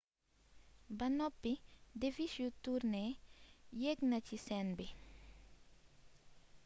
ba noppi devish yu turné yeek ci scène bi